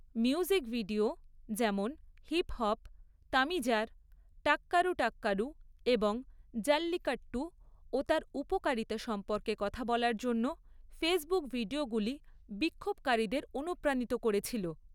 Music video, যেমন হিপহপ তমিজার টাক্কারু টাক্কারু, এবং জাল্লিকাট্টু ও তার উপকারিতা সম্পর্কে কথা বলার জন্য ফেসবুক ভিডিওগুলি বিক্ষোভকারীদের অনুপ্রাণিত করেছিল।